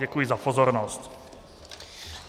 Děkuji za pozornost.